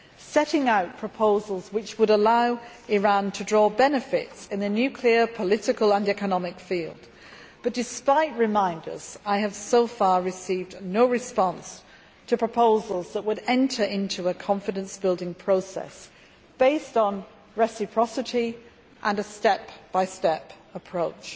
setting out proposals which would allow Iran to gain benefits in the nuclear, political and economic field but, despite reminders, I have so far received no response to proposals to enter into a confidence building process based on reciprocity and a step by step approach.